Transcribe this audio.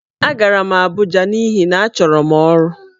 Agara m Abuja n'ihi na achọrọ m ọrụ.